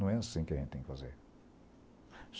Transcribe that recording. Não é assim que a gente tem que fazer.